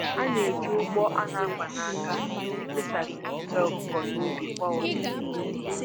A na-eji ụgbọ a na-akwa n'aka efesasị nsị ọkụkọ n'ubi kwa ụtụtụ